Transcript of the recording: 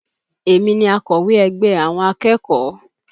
Èmi ni akowe ègbé àwọn akẹ́kọ̀ọ́